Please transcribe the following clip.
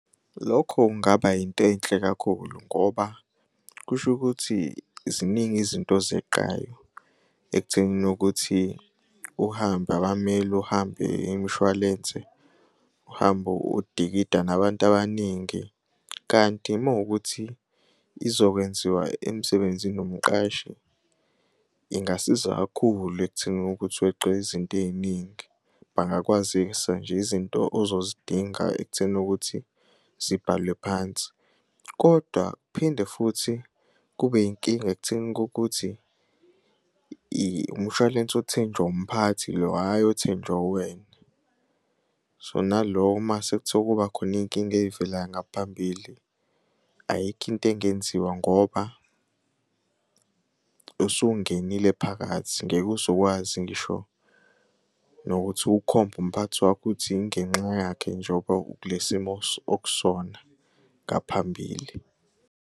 Lokho kungaba yinto enhle kakhulu ngoba kusho ukuthi ziningi izinto ozeqayo ekuthenini ukuthi uhambe abammeli, uhambe imishwalense, uhambe udikida nabantu abaningi, kanti uma kuwukuthi izokwenziwa emsebenzini umqashi, ingasiza kakhulu ekuthenini ukuthi weqe izinto ey'ningi. Bangakwazisa nje izinto ozozidinga ekutheni ukuthi zibhalwe phansi, kodwa kuphinde futhi kube yinkinga ekutheni kokuthi umshwalense othenjwa umphathi lo hhayi othenjwa uwena. So, nalo uma sekuthiwa kuba khona iy'nkinga ey'velayo ngaphambili, ayikho into engenziwa ngoba usungenile phakathi ngeke uze ukwazi ngisho nokuthi ukhombe umphathi wakho uthi ingenxa yakhe njengoba ukule simo okusona ngaphambili.